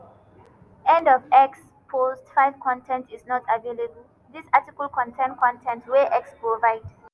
end of x post 5 con ten t is not available dis article contain con ten t wey x provide.